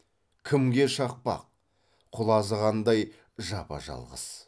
кімге шақпақ құлазығандай жапа жалғыз